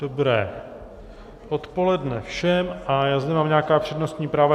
Dobré odpoledne všem a já zde mám nějaká přednostní práva.